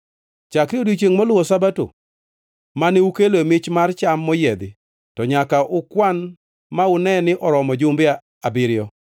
“ ‘Chakre odiechiengʼ moluwo Sabato, mane ukeloe mich mar cham moyiedhi, to nyaka ukwan ma une ni oromo jumbe abiriyo.